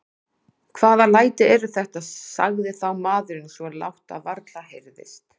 Hvaða læti eru þetta, sagði þá maðurinn svo lágt að varla heyrðist.